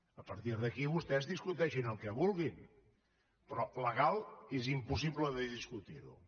a partir d’aquí vostès discuteixin el que vulguin però legal és impossible de discutirho